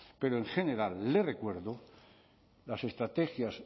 pero en general le recuerdo las estrategias